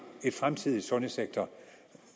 en fremtidig sundhedssektor